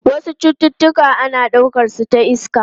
Wasu cututtuka ana daukar su ta iska.